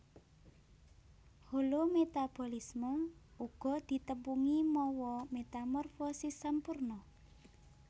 Holometabolisme uga ditepungi mawa metamorfosis sampurna